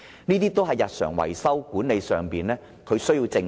這些日常維修的事宜，管理層必須正視。